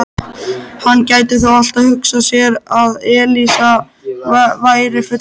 Hann gæti þó alltaf hugsað sér að Elísa væri fullkomin.